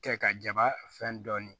Kɛ ka jaba fɛn dɔɔnin